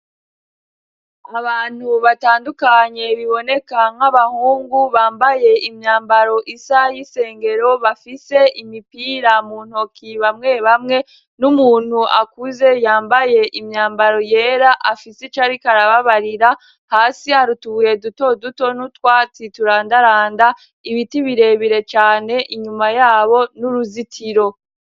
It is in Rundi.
Abantu batandukanye biboneka nk'abahungu, bambaye imyambaro isa y'isengero, bafise imipira mu ntoki bamwe bamwe, n'umuntu akuze yambaye imyambaro yera afise icarik' arababarira ,hasi arutubuye duto duto n'utwatsi turandaranda ,ibiti birebire cane, inyuma yabo n'uruzitiro.